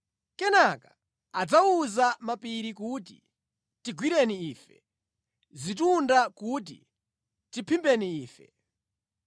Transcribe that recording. Kenaka, “adzawuza mapiri kuti tigwereni ife; zitunda kuti tiphimbeni ife.